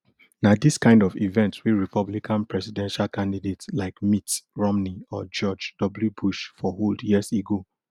na dis kind of events wey republican presidential candidate like mitt romney or george w bush for hold years ago